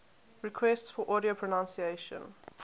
requests for audio pronunciation